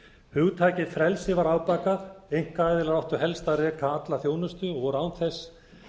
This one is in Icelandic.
hugtakið frelsi var afbakað einkaaðilar áttu helst að reka alla þjónustu og voru án þess